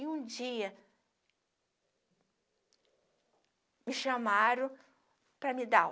E um dia, me chamaram para me dar o